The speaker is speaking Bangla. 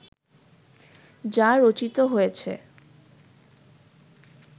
যা রচিত হয়েছে